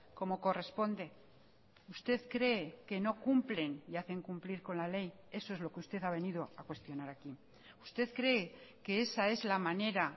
como corresponde usted cree que no cumplen y hacen cumplir con la ley eso es lo que usted ha venido a cuestionar aquí usted cree que esa es la manera